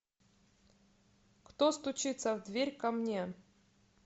кто стучится в дверь ко мне